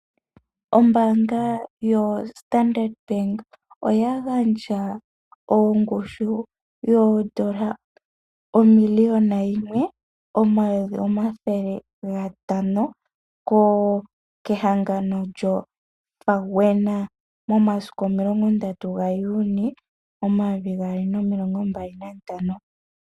Ombaanga yo Standard Bank oya gandja ongushu yoodola omiliyuna yime, omayovi omathele gatano, kehangano lyo FAWENA, momasiku omilongo ndatu gaJune omayovi gaali nomilongo mbali nantano.